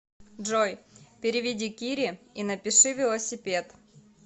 джой переведи кире и напиши велосипед